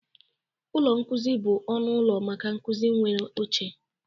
Ụlọ nkuzi bụ ọnụ ụlọ maka nkuzi nwere oche